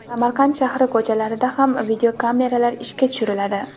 Samarqand shahri ko‘chalarida ham videokameralar ishga tushiriladi.